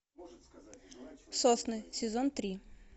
сосны сезон три